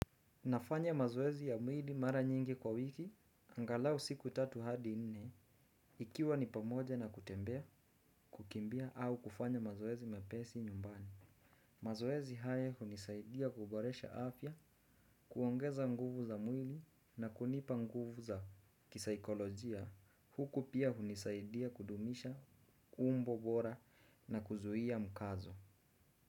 Nafanya mazoezi ya mwili mara nyingi kwa wiki, angalau siku tatu hadi nne, ikiwa ni pamoja na kutembea, kukimbia au kufanya mazoezi mepesi nyumbani. Mazoezi haya hunisaidia kuboresha afya, kuongeza nguvu za mwili na kunipa nguvu za kisikolojia. Huku pia hunisaidia kudumisha umbo bora na kuzuia mkazo.